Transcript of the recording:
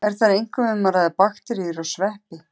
Er þar einkum um að ræða bakteríur og sveppi.